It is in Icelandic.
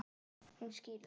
Hún skilur það.